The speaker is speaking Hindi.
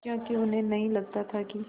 क्योंकि उन्हें नहीं लगता था कि